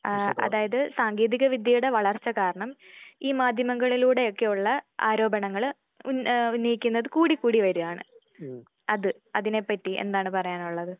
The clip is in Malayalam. ആഹ് അതായത് സാങ്കേതിക വിദ്യയുടെ വളർച്ച കാരണം ഈ മാധ്യമങ്ങളിലൂടെ ഒക്കെയുള്ള ആരോപണങ്ങള് ഉന്ന ഏഹ് ഉന്നയിക്കുന്നത് കൂടി കൂടി വരാണ്. തീർച്ചയായും. അത് അതിനെ പറ്റി എന്താണ് പറയാനുള്ളത്?